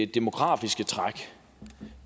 demografiske træk